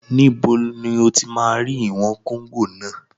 Níbo ni o ti máa rí ìwọ̀n kóngò náà?